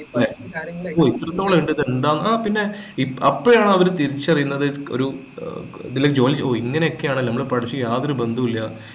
അല്ലേ അപ്പൊ ഇത്രത്തോളം ആഹ് പിന്നെ അപ്പോഴാണ് അവര് തിരിച്ചറിയുന്നത് ഒരു ഏർ ഇതിലേക്ക് join ചെയ്യു ഓ ഇങ്ങനെയൊക്കെയാണല്ലേ നമ്മൾ പഠിച്ചത് മായി യാതൊരു ബന്ധവുമില്ല